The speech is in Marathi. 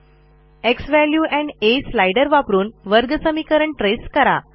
झ्वॅल्यू एंड आ स्लाईडर वापरून वर्गसमीकरण ट्रेस करा